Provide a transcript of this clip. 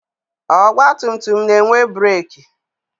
Ọgbatumtum na-enwe breeki.